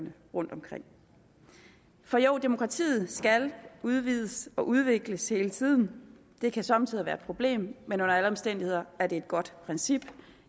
rundtomkring demokratiet skal udvides og udvikles hele tiden det kan somme tider være et problem men under alle omstændigheder er det et godt princip